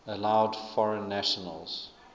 allowed foreign nations